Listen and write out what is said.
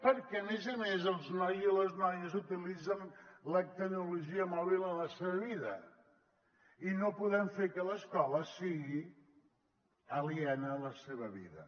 perquè a més a més els nois i les noies utilitzen la tecnologia mòbil a la seva vida i no podem fer que l’escola sigui aliena a la seva vida